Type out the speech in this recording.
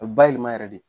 A bɛ bayɛlɛma yɛrɛ de